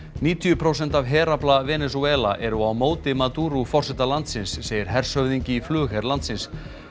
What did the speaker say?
níutíu prósent af herafla Venesúela eru á móti forseta landsins segir hershöfðingi í flugher landsins